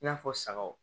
I n'a fɔ sagaw